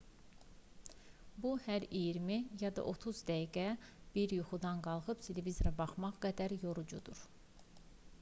bu hər iyirmi ya da otuz dəqiqədə bir yuxudan qalxıb televizora baxmaq qədər yorucudur